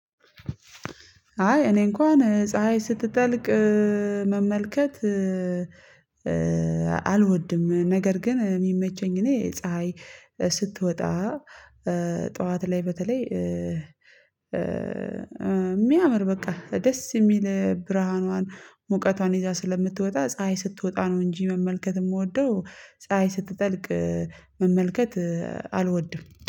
አይ እኔ እንኳን ፀሀይ ስትጠልቅ መመልከት። ነገር ግን የሚመቸኝ እኔ ፀሀይ ስትወጣ ጠዋት ላይ በተለይ የሚያምር በቃ ደስ የሚል ብርሃኗን ሙቀቷን ይዛ ስለምትወጣ ፀሀይ ስትወጣ ነው እንጂ መመልከት የምወደው። ፀሀይ ስትጠልቅ መመልከት አልወድም